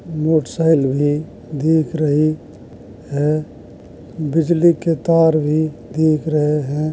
मोठसाईल भी दीख रही है बिजली के तार भी दीख रहे हैं।